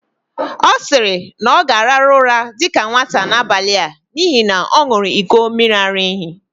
Ọ siri, na ọ gāraru ụra dika nwata n'abali a n'ihi na ọ ṅuru iko miri-ara-ehi